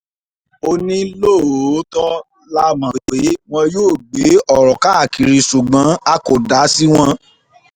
ó ní lóòótọ́ la mọ̀ pé wọn yóò gbé ọ̀rọ̀ káàkiri ṣùgbọ́n a kò dá sí wọn